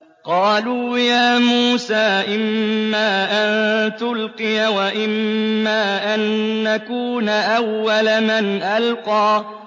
قَالُوا يَا مُوسَىٰ إِمَّا أَن تُلْقِيَ وَإِمَّا أَن نَّكُونَ أَوَّلَ مَنْ أَلْقَىٰ